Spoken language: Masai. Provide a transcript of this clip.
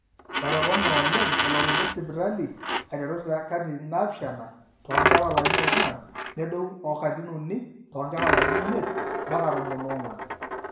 etopone oleng elototo esipitali aiteru te katitin naapishana toonkera oolarin oong'wan nedou o katitin uni toonkera oolarin imiet mpaka tomon oong'wan